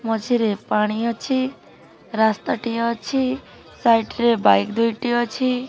ମଝିରେ ପାଣି ଅଛି ରାସ୍ତାଟିଏ ଅଛି ସାଇଡ୍ ରେ ବାଇକ୍ ଦୁଇଟି ଅଛି।